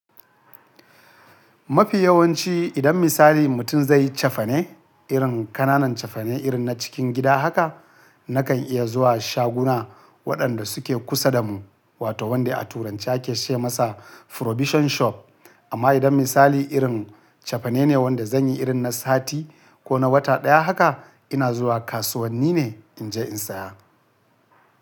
Mafi yawanci idan misali mutum zai yi cefane irin ƙananan cefane irin na cikin gida haka, nakan iya zuwa shaguna waɗanda suke kusa da mu wato wanda a turanci ake ce masa Provision Shop. Amma idan misali irin cefane ne wanda zan yi irin na sati ko na wata ɗaya haka ina zuwa kasuwanni ne in je in saya.